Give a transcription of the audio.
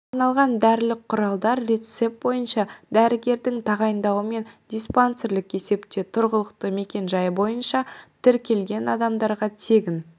арналған дәрілік құралдар рецепт бойынша дәрігердің тағайындауымен диспансерлік есепте тұрғылықты мекенжайы бойынша тіркелген адамдарға тегін